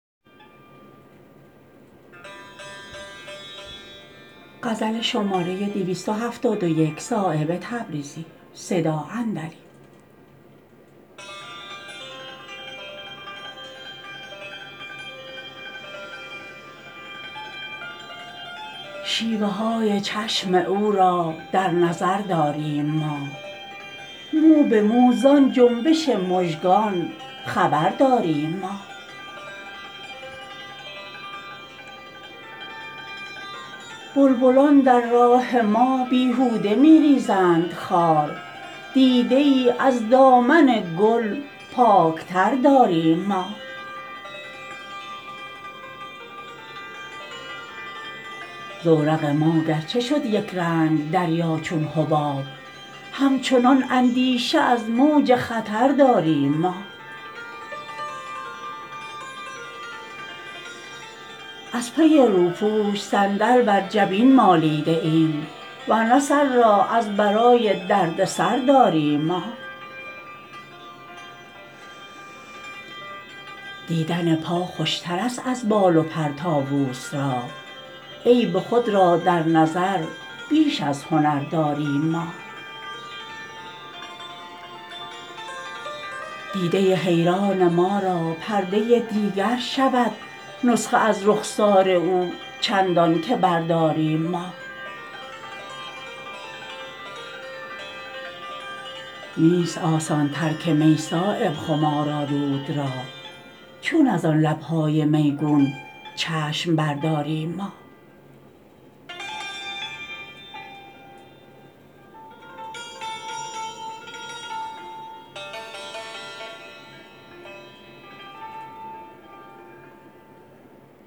شیوه های چشم او را در نظر داریم ما مو به مو زان جنبش مژگان خبر داریم ما بلبلان در راه ما بیهوده می ریزند خار دیده ای از دامن گل پاکتر داریم ما زورق ما گرچه شد یکرنگ دریا چون حباب همچنان اندیشه از موج خطر داریم ما از پی روپوش صندل بر جبین مالیده ایم ورنه سر را از برای دردسر داریم ما دیدن پا خوشترست از بال و پر طاوس را عیب خود را در نظر بیش از هنر داریم ما دیده حیران ما را پرده دیگر شود نسخه از رخسار او چندان که برداریم ما نیست آسان ترک می صایب خمارآلود را چون ازان لبهای میگون چشم برداریم ما